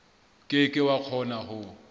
ke ke wa kgona ho